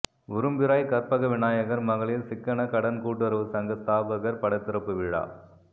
உரும்பிராய் கற்பகவிநாயகர் மகளிர் சிக்கனக் கடன் கூட்டுறவுச் சங்க ஸ்தாபகர் படத் திறப்புவிழா